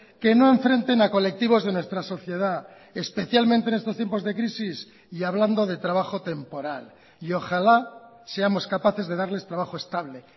que no enfrenten a colectivos de nuestra sociedad especialmente en estos tiempos de crisis y hablando de trabajo temporal y ojalá seamos capaces de darles trabajo estable